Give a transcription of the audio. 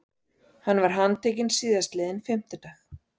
Hann var handtekinn síðastliðinn fimmtudag